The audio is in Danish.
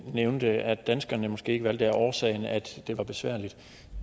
nævnte at danskerne måske ikke valgte det årsag at det var besværligt